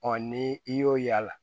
ni i y'o y'a la